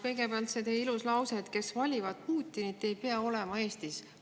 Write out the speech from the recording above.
Kõigepealt see teie ilus lause, et need, kes valivad Putinit, ei pea olema Eestis.